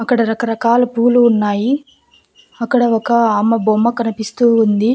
అక్కడ రకరకాల పూలు ఉన్నాయి అక్కడ ఒక అమ్మ బొమ్మ కనిపిస్తూ ఉంది.